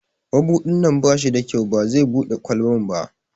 Mabudin nan ba shi da kyau, ba zai Bude kwalban ba.